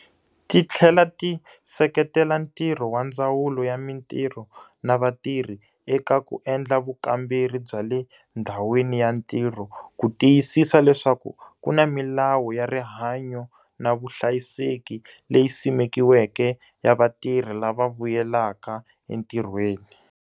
Ti tlhela ti seketela ntirho wa Ndzawulo ya Mitirho na Vatirhi eka ku endla vukamberi bya le ndhawini ya ntirho ku tiyisisa leswaku ku na milawu ya rihanyo na vuhlayiseki leyi simekiweke ya vatirhi lava vuyelaka entirhweni.